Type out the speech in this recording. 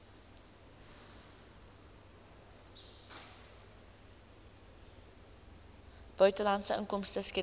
buitelandse inkomste skedule